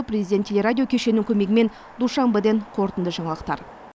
президент теле радио кешенінің көмегімен душанбеден қорытынды жаңалықтар